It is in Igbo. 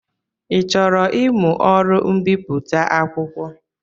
Ị chọrọ ịmụ ọrụ mbipụta akwụkwọ?